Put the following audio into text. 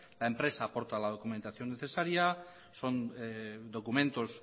la empresa aporta la documentación necesaria son documentos